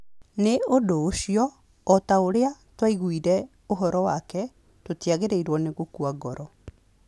Nĩ ũndũ ũcio, o ta ũrĩa twaiguire ũhoro wake, tũtiagĩrĩirũo nĩ gũkua ngoro.